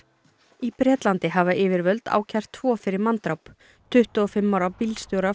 í Bretlandi hafa yfirvöld ákært tvo fyrir manndráp tuttugu og fimm ára bílstjóra